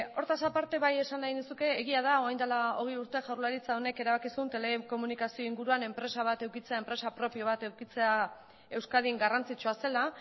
hortaz aparte bai esan nahi nizuke egia da orain dela hogei urte jaurlaritza honek erabaki zuen telekomunikazio inguruan enpresa bat edukitzea enpresa propio bat edukitzea euskadin garrantzitsua zela